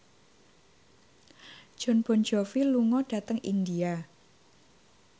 Jon Bon Jovi lunga dhateng India